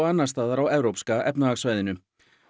annars staðar á Evrópska efnahagssvæðinu